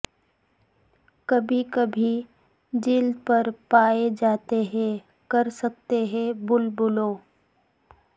کبھی کبھی جلد پر پائے جاتے ہیں کر سکتے ہیں بلبلوں